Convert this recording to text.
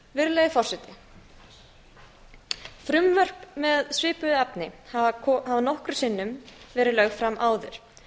virðulegi forseti frumvörp með svipuðu efni hafa nokkrum sinnum verið lögð fram áður